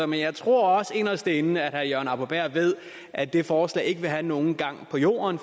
men jeg tror også inderst inde at herre jørgen arbo bæhr ved at det forslag ikke vil have nogen gang på jorden